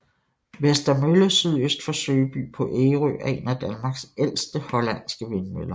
Vester Mølle sydøst for Søby på Ærø er en af Danmarks ældste hollandske vindmøller